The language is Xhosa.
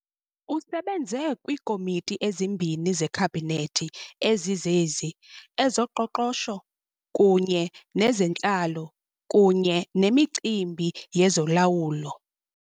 Usebenze kwiiKomiti ezimbini zeKhabhinethi, ezizezi, ezoqoqosho kunye nezentlalo kunye nemicimbi yezolawulo.